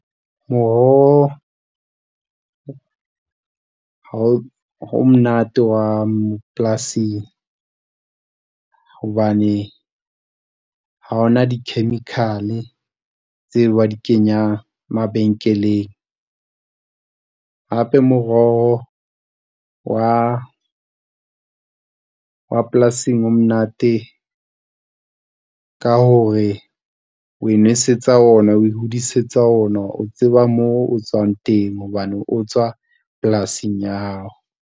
Moroho o monate wa polasing, hobane ha hona di-chemical tseo ba di kenyang mabenkeleng. Hape moroho wa, wa polasing o monate ka hore o inwesetsa ona, o ihodisetsa ona o tseba moo o tswang teng hobane o tswa polasing ya hao.